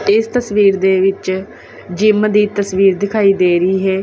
ਇਸ ਤਸਵੀਰ ਦੇ ਵਿੱਚ ਜਿੰਮ ਦੀ ਤਸਵੀਰ ਦਿਖਾਈ ਦੇ ਰਹੀ ਹੈ।